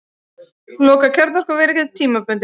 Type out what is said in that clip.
Loka kjarnorkuveri tímabundið